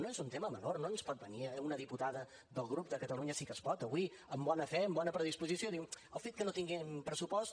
no és un tema menor no ens pot venir una diputada del grup de catalunya sí que es pot avui amb bona fe amb bona predisposició diu el fet que no tinguem pressupost